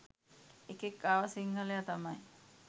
එකෙක් ආව සිංහලයා තමයි